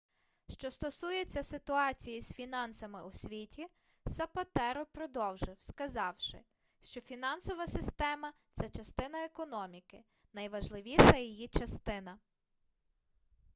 що стосується ситуації з фінансами у світі сапатеро продовжив сказавши що фінансова система це частина економіки найважливіша її частина